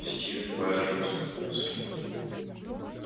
стивен байерли усмехнулся